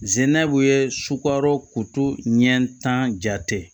Zinɛbu ye sukaro koto ɲɛ tan jate